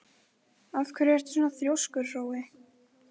Af hverju ertu svona þrjóskur, Hrói?